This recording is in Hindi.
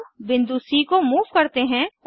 अब बिंदु सी को मूव करते हैं